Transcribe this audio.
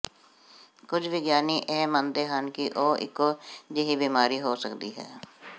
ਕੁਝ ਵਿਗਿਆਨੀ ਇਹ ਮੰਨਦੇ ਹਨ ਕਿ ਉਹ ਇੱਕੋ ਜਿਹੀ ਬਿਮਾਰੀ ਹੋ ਸਕਦੀ ਹੈ